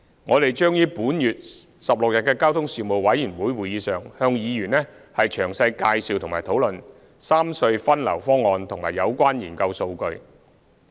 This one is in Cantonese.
我們將於本月16日的交通事務委員會會議上向議員詳細介紹和討論三隧分流方案和有關研究數據。